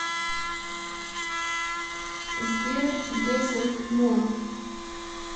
сбер десерт мун